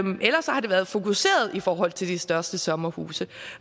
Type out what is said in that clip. og ellers har det været fokuseret i forhold til de største sommerhuse